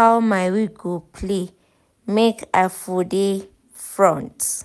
how my week go play make i for dey front